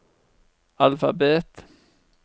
alfabet